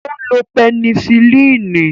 Ó lo pẹnisilínì.